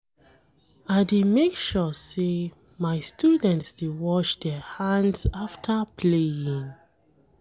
I dey make sure sey my students dey wash their hands afta playing.